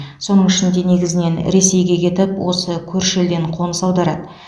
соның ішінде негізінен ресейге кетіп осы көрші елден қоныс аударады